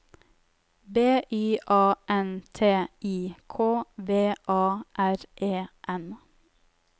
B Y A N T I K V A R E N